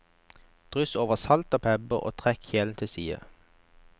Dryss over salt og pepper og trekk kjelen til side.